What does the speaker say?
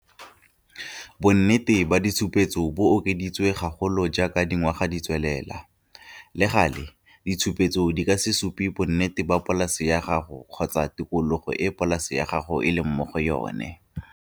Bonnete ba ditshupetso bo okeditswe gagolo jaaka dingwaga di tswelela. Le gale, ditshupetso di ka se supe bonnete go polase ya gago kgotsa tikologo e polase ya gago e leng mo go yona.